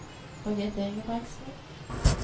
Birgit Ingebrigtsen